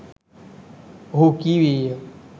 ඔහු කීවේය.